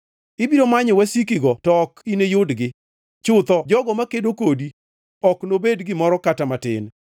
Ibiro manyo wasikigo to ok iniyudgi. Chutho jogo makedo kodi ok nobed gimoro kata matin.”